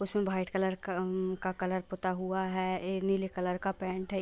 उसमे white colour अम का कलर पुता हुआ हैं एक नीले कलर का पेंट हैं ।